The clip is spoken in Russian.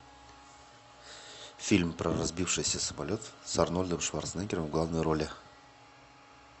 фильм про разбившийся самолет с арнольдом шварценеггером в главной роли